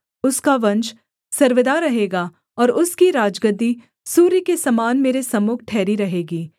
उसका वंश सर्वदा रहेगा और उसकी राजगद्दी सूर्य के समान मेरे सम्मुख ठहरी रहेगी